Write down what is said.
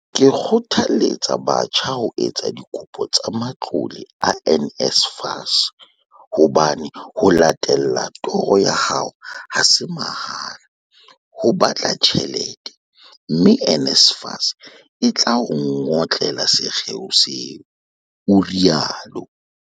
Ke kgothaletsa batjha ho etsa dikopo tsa matlole a NSFAS hobane ho latella toro ya hao ha se mahala, ho batla tjhelete, mme NSFAS e tla o ngotlela sekgeo seo, o rialo.